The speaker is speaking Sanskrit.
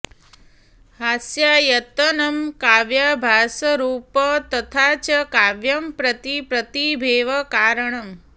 हास्यायतनं काव्याभासरूप तथा च काव्यं प्रति प्रतिभेव कारणम्